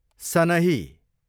सनही